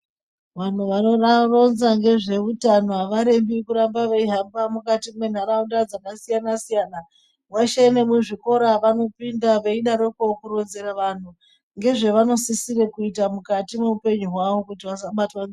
Vantu vanoa ronza ngezveutano avarembi kuramba veihambe mukati muntaraunda dzakasiyana siyana mweshe nemuzvikora vanopinda veidarikwo kuronzere vanhu ngezvevanosisira kuita mukati mweupenyu hwawo kuti vasabatwa nge.